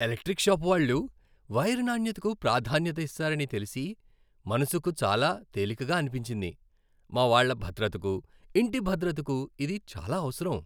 Electrical shop వాళ్ళు wire నాణ్యతకు ప్రాధాన్యత ఇస్తారని తెలిసి మనసుకు చాలా తేలికగా అనిపించింది. మా వాళ్ళ భద్రతకు, ఇంటి భద్రతకు ఇది చాలా అవసరం.